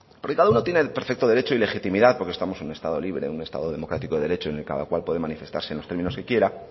porque cada uno tiene el perfecto derecho y legitimidad porque estamos en un estado libre en un estado democrático y de derecho en el que cada cual puede manifestarse en los términos que quiera